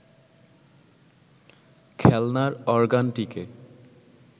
খেলনার অরগানটিকে